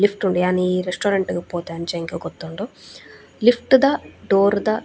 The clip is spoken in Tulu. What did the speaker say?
ಲಿಫ್ಟ್ ಉಂಡು ಯಾನೀ ರೆಸ್ಟೋರೆಂಟ್ ಪೋತೆ ಅಂಚ ಎಂಕ್ ಗೊತ್ತುಂಡು ಲಿಫ್ಟ್ ದ ಡೋರ್ ದ .